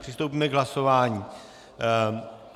Přistoupíme k hlasování.